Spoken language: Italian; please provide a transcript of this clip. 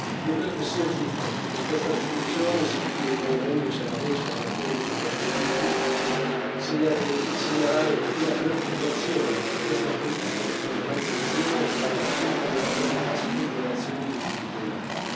Io credo che sia giusto che con questa risoluzione si chieda, unendoci alla voce e agli appelli degli attivisti, di segnalare la preoccupazione che questa politica di tolleranza zero sia stata accompagnata da aspre violazioni dei diritti umani.